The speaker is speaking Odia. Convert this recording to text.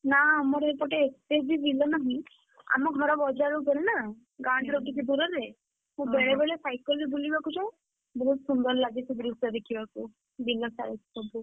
ନା ଆମର ଏପଟେ, ଏତେ ବି ବିଲ ନାହିଁ। ଆମ ଘର ବଜାର ଉପରେ ନା, ଗାଁ ଠାରୁ ଟିକେ ଦୂରରେ। ମୁଁ ବେଳେବେଳେ cycle ରେ ବୁଲିବାକୁ ଯାଏ, ବହୁତ୍ ସୁନ୍ଦର ଲାଗେ ସେ ଦୃଶ୍ୟ ଦେଖିବାକୁ, ବିଲ side ରେ ସବୁ,